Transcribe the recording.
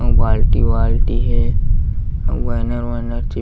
अऊ बाल्टी वाल्टी हे अउ बैनर वैनर चिप--